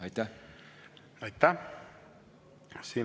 Aitäh!